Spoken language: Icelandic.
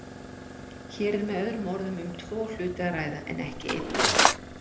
Hér er með öðrum orðum um tvo hluti að ræða, en ekki einn.